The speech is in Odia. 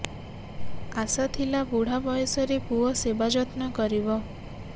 ଆଶା ଥିଲା ବୁଢା ବୟସରେ ପୁଅ ସେବା ଯତ୍ନ କରିବ